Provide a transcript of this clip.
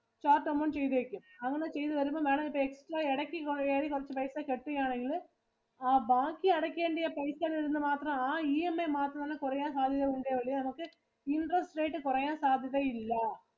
chart amount ചെയ്‌തേക്കും. അങ്ങനെ ചെയ്തു വരുമ്പം Madam ഇപ്പം extra ഇടയ്ക്കു കേറി കുറച്ചു പൈസ cut ചെയ്യുകയാണെങ്കില് ആ ബാക്കി അടയ്‌ക്കേണ്ടിയ പൈസ വരുന്നേ മാത്രം ആ EMI മാത്രമാണ് കുറയാൻ സാധ്യത ഉള്ളത്. അതുപോലെ നമുക്ക് interest rate കുറയാൻ സാധ്യത ഇല്ല.